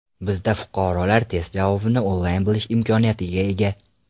Bizda fuqarolar test javobini onlayn bilish imkoniyatiga ega.